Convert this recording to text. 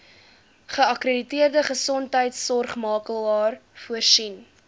geakkrediteerde gesondheidsorgmakelaar voorsien